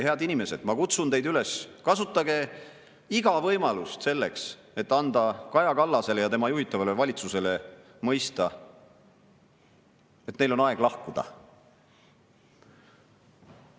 Head inimesed, ma kutsun teid üles, kasutage iga võimalust selleks, et anda Kaja Kallasele ja tema juhitavale valitsusele mõista, et neil on aeg lahkuda.